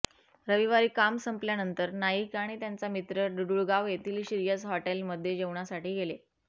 रविवारी काम संपल्यानंतर नाईक आणि त्यांचा मित्र डुडुळगाव येथील श्रीयश हॉटेलमध्ये जेवणासाठी गेले